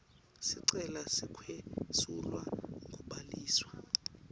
sicelo sekwesulwa kubhaliswa